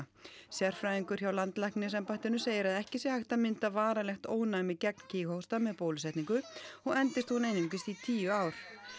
sérfræðingur hjá landlæknisembættinu segir að ekki sé hægt að mynda varanlegt ónæmi gegn með bólusetningu og endist hún einungis í tíu ár